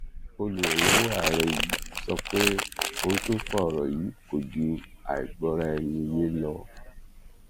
olùrànlọwọ ààrẹ yìí sọ pé ohun tó fa ọrọ yìí kò ju àìgbọraẹniyé lọ